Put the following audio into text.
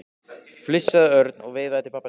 flissaði Örn og veifaði til pabba síns.